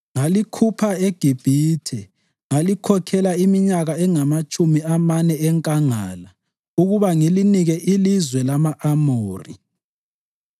Ngalikhupha eGibhithe ngalikhokhela iminyaka engamatshumi amane enkangala ukuba ngilinike ilizwe lama-Amori.